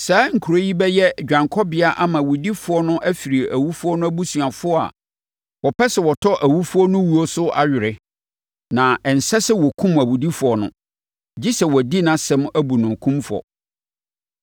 Saa nkuro yi bɛyɛ dwanekɔbea ama owudifoɔ no afiri owufoɔ no abusuafoɔ a wɔpɛ sɛ wɔtɔ owufoɔ no wuo so awere; na ɛnsɛ sɛ wɔkum owudifoɔ no, gye sɛ wɔadi nʼasɛm abu no kumfɔ.